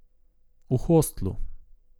V hostlu.